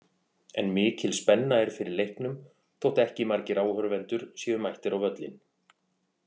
En mikil spenna er fyrir leiknum þótt ekki margir áhorfendur séu mættir á völlinn.